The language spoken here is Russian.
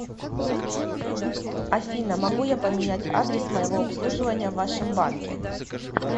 афина могу я поменять адресс моего обслуживания в вашем банке